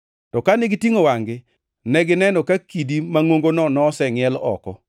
To kane gitingʼo wangʼ-gi, negineno ka kidi mangʼongono nosengʼiel oko.